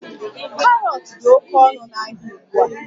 Karọt dị oke ọnụ n'ahịa ugbu a